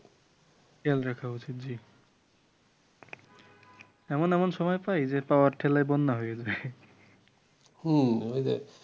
খেয়াল রাখা উচিত জি এমন এমন সময় পাই যে পাওয়ার ঠেলায় বন্যা হয়ে যায়